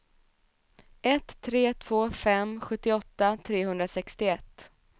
ett tre två fem sjuttioåtta trehundrasextioett